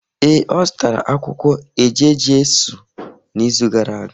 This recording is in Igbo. Ee, o zutara akwukwo eje-Jesu n’izu gara aga.